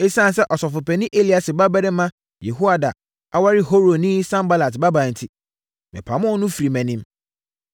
Esiane sɛ ɔsɔfopanin Eliasib babarima Yehoiada aware Horonni Sanbalat babaa enti, mepamoo no firii mʼanim.